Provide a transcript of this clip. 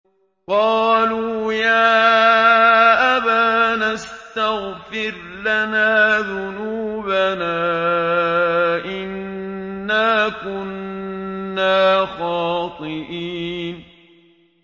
قَالُوا يَا أَبَانَا اسْتَغْفِرْ لَنَا ذُنُوبَنَا إِنَّا كُنَّا خَاطِئِينَ